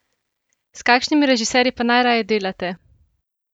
S kakšnimi režiserji pa najraje delate?